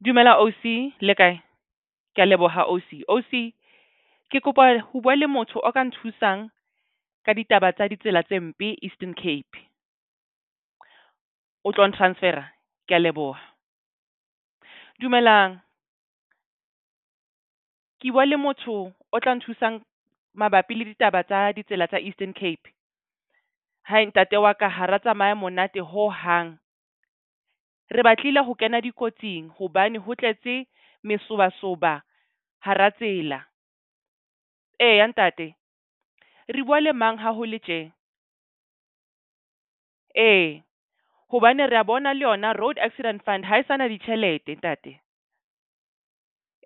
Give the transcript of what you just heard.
Dumela ausi le kae? Ke a leboha ausi. Ausi ke kopa ho bua le motho o ka nthusang ka ditaba tsa ditsela tse mpe Eastern Cape. O tlong transfer-a? Ke a leboha. Dumelang ke bua le motho o tla nthusang mabapi le ditaba tsa ditsela tsa Eastern Cape. Ntate wa ka hara tsamaye monate ho hang, re batlile ho kena dikotsing hobane ho tletse mesobasoba hara tsela. Eya, ntate re bua le mang ha ho le tje? Ee hobane re a bona le yona Road Accident Fund ha e sa na ditjhelete ntate.